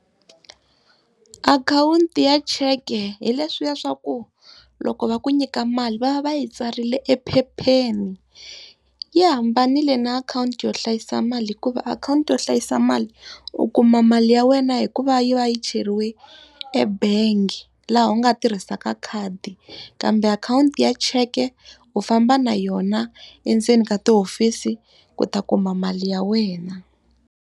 Akhawunti ya cheke hi leswiya swa ku loko va ku nyika mali va va va yi tsarile ephepheni. Yi hambanile na akhawunti yo hlayisa mali hikuva akhawunti yo hlayisa mali, u kuma mali ya wena hi ku va yi va yi cheriwe ebangi laha u nga tirhisaka khadi. Kambe akhawunti ya cheke u famba na yona endzeni ka tihofisi ku ta kuma mali ya wena.